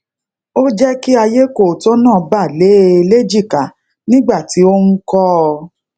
ó je ki ayekooto naa ba le e lèjìká nigba ti o n ko o